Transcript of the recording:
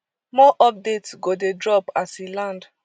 more updates go dey drop as e land